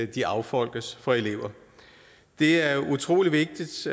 de affolkes for elever det er utrolig vigtigt